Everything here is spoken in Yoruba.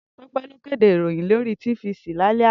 Tope ló kédé iróyìn lóri tífisí lálè àná